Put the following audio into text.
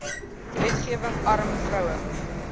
wetgewing arm vroue